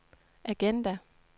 agenda